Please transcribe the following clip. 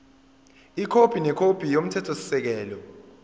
ikhophi nekhophi yomthethosisekelo